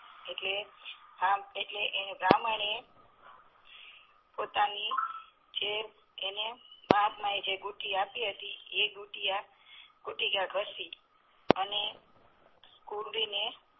એટલે બાહ્મણે પોતાની ની જે એને મહાત્મા એ જે બુટી આપી હતી એ બુટી ઘસી ને અને